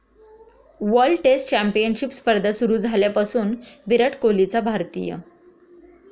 World test championship स्पर्धा सुरु झाल्यापासून विराट कोहलीचा भारतीय.